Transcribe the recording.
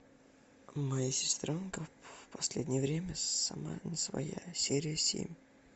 моя сестренка в последнее время сама не своя серия семь